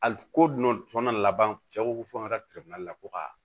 Ali ko dunan laban cɛ ko fɔ n ka telefɔni lakodiya